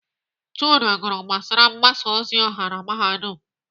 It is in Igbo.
Chude gụrụ gbasara mgbasa ozi ọha na Mahadum.